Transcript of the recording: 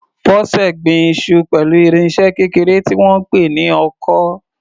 Bose gbin iṣu pẹ̀lú irinṣẹ́ kékeré tí wọ́n ń pè ní ọkọ́.